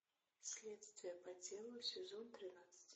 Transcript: следствие по телу сезон тринадцать